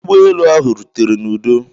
ụgbọ elu ahụ rutere n'udo